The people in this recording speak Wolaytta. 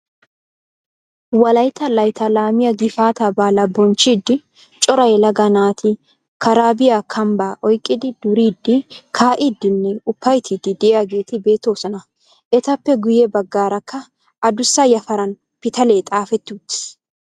Wollaytta layttaa laamiyaa gifaataa baalaa bonchchiidi cora yelaga naati karaabiyaa kambbaa oyqqidi duriidi kaa'idinne upayttiidi de'iyaageti beettoosona. Etappe guyye baggaarakka aduussa yafaran pitaalee xaafetti uttiis.